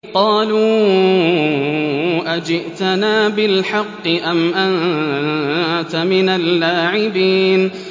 قَالُوا أَجِئْتَنَا بِالْحَقِّ أَمْ أَنتَ مِنَ اللَّاعِبِينَ